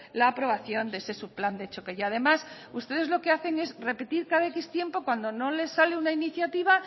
la aprobación de ese subplan de choque y además ustedes lo que hacen es repetir cada cierto tiempo cuando no les sale una iniciativa